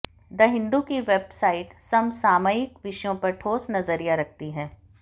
the Hindu की website समसामयिक विषयों पर ठोस नजरिया रखती है